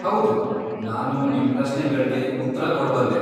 ಹೌದು, ನಾನು ನಿಮ್ ಪ್ರಶ್ನೆಗಳ್ಗೆ ಉತ್ರ ಕೊಡ್ಬಲ್ಲೆ.